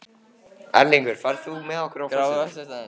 Erlingur, ferð þú með okkur á föstudaginn?